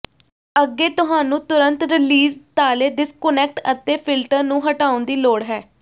ਅੱਗੇ ਤੁਹਾਨੂੰ ਤੁਰੰਤ ਰੀਲਿਜ਼ ਤਾਲੇ ਡਿਸਕੁਨੈਕਟ ਅਤੇ ਫਿਲਟਰ ਨੂੰ ਹਟਾਉਣ ਦੀ ਲੋੜ ਹੈ